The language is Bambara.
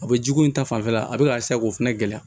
A bɛ jiko in ta fanfɛla a bɛ ka k'o fana gɛlɛya